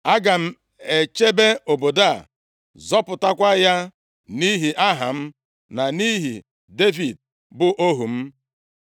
Aga m echebe obodo a, zọpụtakwa ya nʼihi aha m, na nʼihi Devid, bụ ohu m.’ ”